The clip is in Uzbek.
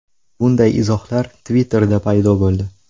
Bunday izohlar Twitter’da paydo bo‘ldi.